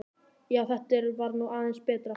Já, þetta var nú aðeins betra, ha!